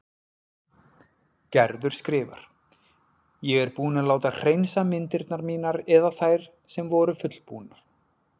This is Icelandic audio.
Gerður skrifar: Ég er búin að láta hreinsa myndirnar mínar eða þær sem voru fullbúnar.